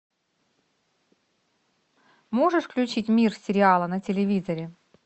можешь включить мир сериала на телевизоре